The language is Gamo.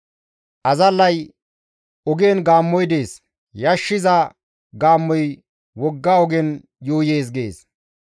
Azallay, «Ogen gaammoy dees; yashshiza gaammoy wogga ogen yuuyees» gees.